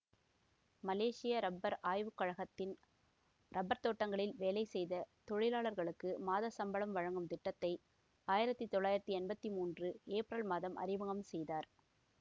மலேசிய rubber ஆய்வு கழகத்தின் rubber தோட்டங்களில் வேலை செய்த தொழிலாளர்களுக்கு மாதச் சம்பளம் வழங்கும் திட்டத்தை ஆயிரத்தி தொள்ளாயிரத்தி எம்பத்தி மூன்று ஏப்ரல் மாதம் அறிமுகம் செய்தார்